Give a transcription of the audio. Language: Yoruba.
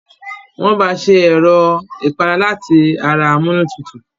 Wọn bá ṣe Ẹ̀rọ̀ ìpara láti ara amunútutù